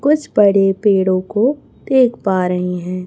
कुछ बड़े पेड़ों को देख पा रहे हैं।